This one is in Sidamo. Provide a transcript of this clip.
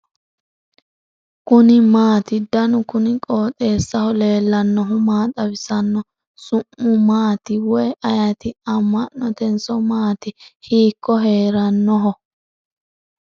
kuni maati ? danu kuni qooxeessaho leellannohu maa xawisanno su'mu maati woy ayeti ? amma'notenso maati ? hiikko heerannoho ?